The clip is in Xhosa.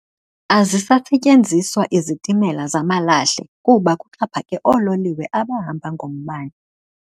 Azisasetyenziswa izitimela zamalahle kuba kuxhaphake oololiwe abahamba ngombane